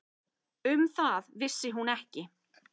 Um það vissi hún ekki.